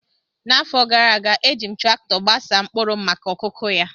N’afọ gara aga, e ji m traktọ gbasaa mkpụrụ m maka okụkụ ya.